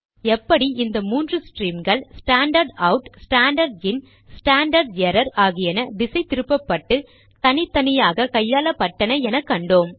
எப்படி இந்த மூன்று ஸ்ட்ரீம்கள் standard out standard in standard error ஆகியன திசை திருப்பப்பட்டு தனித்தனியாக கையாளப்பட்டன என கண்டோம்